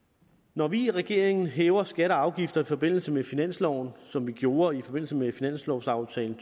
når vi i regeringen hæver skatter og afgifter i forbindelse med finansloven som vi gjorde i forbindelse med finanslovaftalen